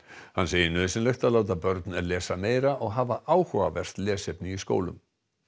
hann segir nauðsynlegt að láta börn lesa meira og hafa áhugavert lesefni í skólum